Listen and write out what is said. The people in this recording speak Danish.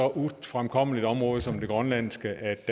ufremkommeligt område som det grønlandske